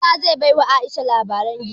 Isah zai ba wa Aisha labaren giwa